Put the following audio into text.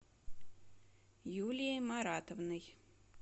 юлией маратовной